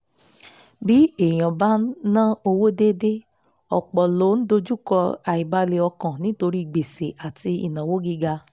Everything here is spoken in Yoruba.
bí èèyàn bá ń ná owó déédéé ọ̀pọ̀ ló ń dojúkọ àìbalẹ̀ ọkàn nítorí gbèsè àti ìnáwó gíga